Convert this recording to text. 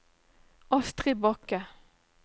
Astrid Bakke